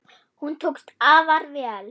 Hún tókst afar vel.